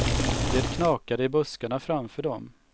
Det knakade i buskarna framför dem.